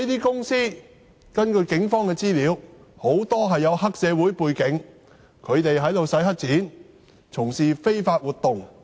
根據警方的資料，這類公司很多具黑社會背景，他們"洗黑錢"和從事非法活動。